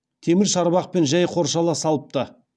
темір шарбақпен жәй қоршала салыпты